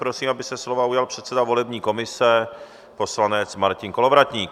Prosím, aby se slova ujal předseda volební komise poslanec Martin Kolovratník.